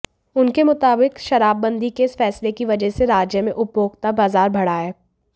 उनके मुताबिक शराबबंदी के इस फैसले की वजह से राज्य में उपभोक्ता बाजार बढ़ा है